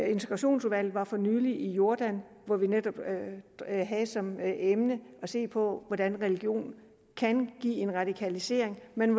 integrationsudvalget var for nylig i jordan hvor vi netop havde som emne at se på hvordan religionen kan give en radikalisering men